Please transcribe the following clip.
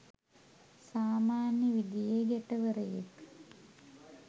සාමන්‍ය විදිහේ ගැටවරයෙක්.